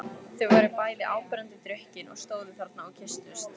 Þau voru bæði áberandi drukkin og stóðu þarna og kysstust.